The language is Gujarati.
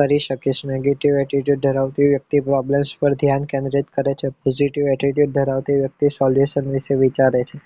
કરી શકીશ negative attitude ધરાવતી વ્યક્તિ problems પર ધ્યાન કેન્દ્રિત કરે છે positive attitude ધરાવતી વ્યક્તિ solution વિશે વિચારે છે